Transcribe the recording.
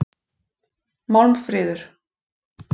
Málmfríður